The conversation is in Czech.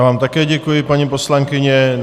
Já vám také děkuji, paní poslankyně.